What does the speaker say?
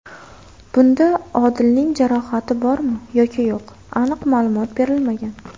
Bunda Odilning jarohati bormi yoki yo‘q aniq ma’lumot berilmagan.